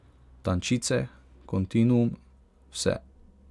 Tančice, kontinuum, Vse.